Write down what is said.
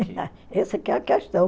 Essa que é a questão.